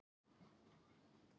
Ekki er djúpsett frænda fylgi.